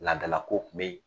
Laadalakow tun bɛ yen.